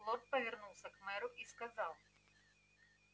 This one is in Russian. лорд повернулся к мэру и сказал